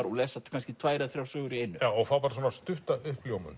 og lesa tvær eða þrjár sögur í einu fá svona stutta uppljómun